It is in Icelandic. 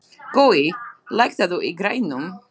Gói, lækkaðu í græjunum.